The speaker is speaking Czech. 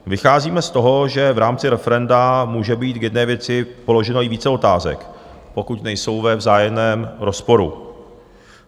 Vycházíme z toho, že v rámci referenda může být k jedné věci položeno i více otázek, pokud nejsou ve vzájemném rozporu.